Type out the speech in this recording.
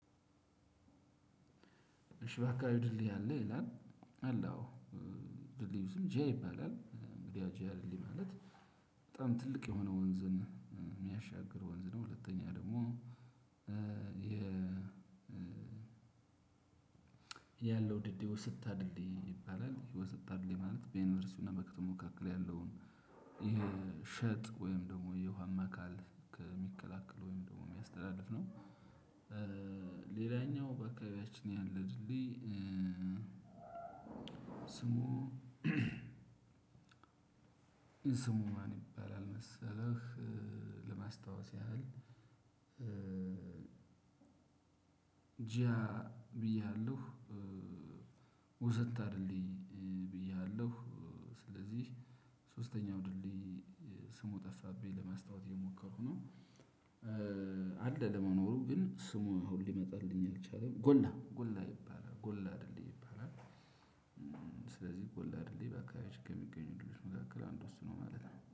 እሺ በአከባቢ ድልድይ አለ ይላል አለ አው የድልድዩ ስም ጀ ይባላል የ ጅ ማለት በጣም ትልቅ የሆነ ወንዝን የሚያሻግር ወንዝ ነው። ሁለተኛ ደግሞ የ ያለው ድልድይ ወሰታ ድልድይ ይባላል የወሰታ ድልድይ ማለት በ ዩኒቨርሲቲውና እና በከተማ መካከል ያለውን የሸጥ ወይም የውሃማ አካል የሚከላከል ወይም የሚያስተላልፍ ነው። ሌላኛው በአካባቢያችን ያለው ድልድይ ስሙ ስሙ ማን ይባላል መሰለህ? ለማስታወስ ያህል ጂያ ብዬሃለሁ ወሰታ ድልድይ ብዬሃለሁ። ስለዚህ ሶስተኛው ድልድይ ስሙ ጠፋብኝ ለማስታወስ እየሞከርኩ ነው። አለ ለመኖሩ ግን ስሙ ሊመጣልኝ አልቻለም። ጎላ ጎላ ይባላል ጎላ ድልድይ ይባላል። ስለዚህ ጎላ ድልድይ በአካባቢው ከሚገኙ ድልድይ መካከል አንዱ እሱ ነው ማለት ነው